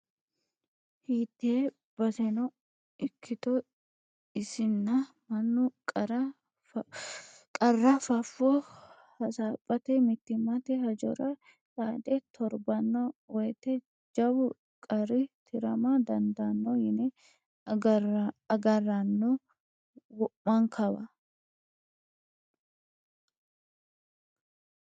Hiite baseno ikkitto isinna mannu qarra fafo hasaphate mittimmate hajjora xaade torbano woyte jawu qarri tirama dandaano yine agarranno wo'mankawa.